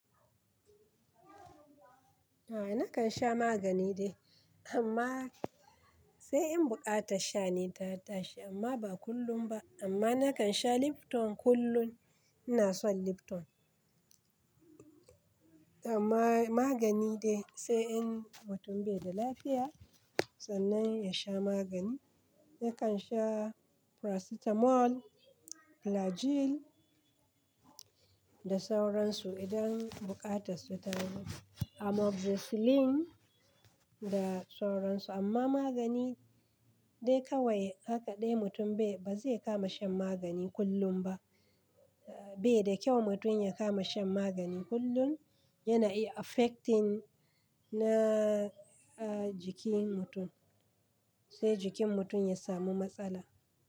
Nakan sha magani dai amma sai in bukata sha ne tata shi amma ba kullum ba. Amma nakan sha Lipton kullum, ina son Lipton. Amma magani dai sai in mutum bai da lafiya sannan ya sha magani. Yakan sha paracetamol, flagyl da sauransu idan bukatarsu ta zo. Amoxicillin da sauransu. Amma magani dai kawai haka dai mutum bai, ba zai kama shan magani kullum ba. Bai da kyau mutum ya kama shan magani kullum, yana iya affecting na jikin mutum, sai jikin mutum ya samu matsala.